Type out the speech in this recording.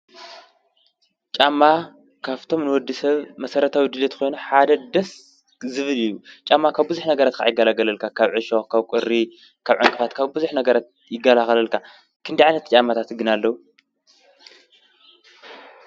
ጫማ ካብቶም ንወዲ ሰብ መሠረታዊ ድልየት ኮይኑ ሓደ ደስ ዝብል እዩ። ጫማ ካብ ብዙኅ ነገረት ካዓ ይከላከለልካ ካብ ዒሾ፣ ካብ ቝሪ ካብ ዕንቅፋት ካብ ብዙኅ ነገረት ይጋኸላከለልካ። ክንደይ ዓይነታት ጫማታት ግን ኣለዉ?